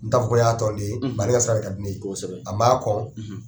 N t'a fɔ ko n y'a tɔn den ye bari ale ka sira de ka di ne ye a man kɔn.